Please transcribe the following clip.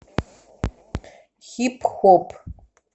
хип хоп